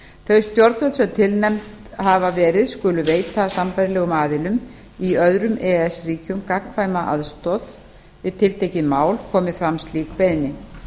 þau stjórnvöld sem tilnefnd hafa verið skulu veita sambærilegum aðilum í öðrum e e s ríkjum gagnkvæma aðstoð við tiltekið mál komi fram slík beiðni